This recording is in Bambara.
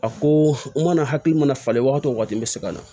A ko n mana hakili mana falen wagati o wagati n bɛ segin ka na